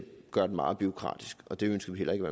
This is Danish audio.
gøre den meget bureaukratisk og det ønsker vi heller ikke